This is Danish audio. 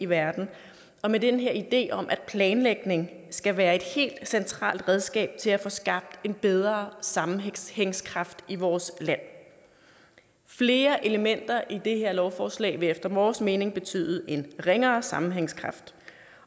verden med den her idé om at planlægning skal være et helt centralt redskab til at få skabt bedre sammenhængskraft i vores land flere elementer i det her lovforslag vil efter vores mening betyde en ringere sammenhængskraft